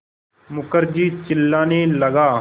मुखर्जी चिल्लाने लगा